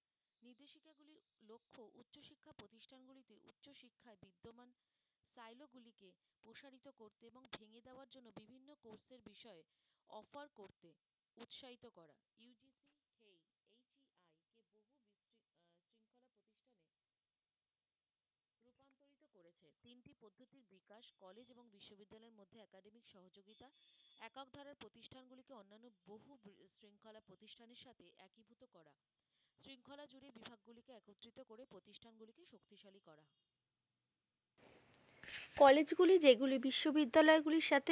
college গুলি যেগুলি বিশ্ববিদ্যালয় গুলির সাথে